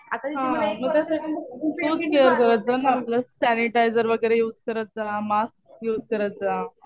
हा.मग तसं तूच केअर करत जा ना. आपलं सॅनिटायझर वगैरे युज करत जा. मास्क युझ करत जा.